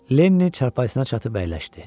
Lenni çarpayısına çatıb əyləşdi.